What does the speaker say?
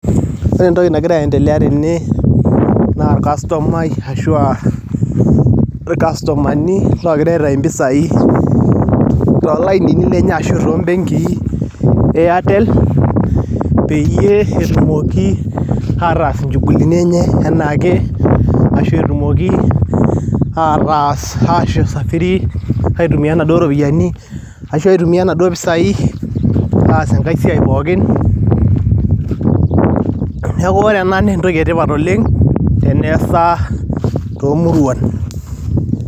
Ore entoki nagira aendelea tene naa olkastomai ashua ilkastomani oogira aitayu mpisai toolainini lenye ashua toombenkii e Airtel peyie etumoki ataasa inchugulini enye eanake ashu etumoki ataas aitumia naduo ropiyiani ashua aitumia naduo pisai aas enkae siai pooki. Neeku ore ena naa entoki etipat oleng' teneasa toomuruan.